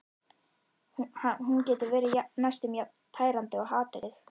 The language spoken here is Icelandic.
Hún getur verið næstum jafn tærandi og hatrið.